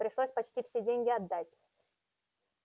пришлось почти все деньги отдать